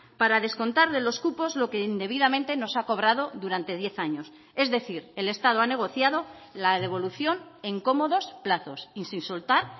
para descontar de los cupos lo que indebidamente nos ha cobrado durante diez años es decir el estado ha negociado la devolución en cómodos plazos y sin soltar